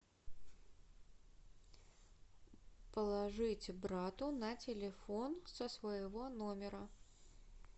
положить брату на телефон со своего номера